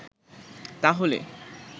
তা হলে